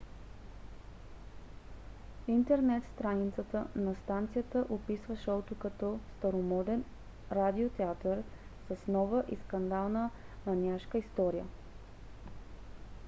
интернет страницата на станцията описва шоуто като старомоден радио театър с нова и скандална маниашка история!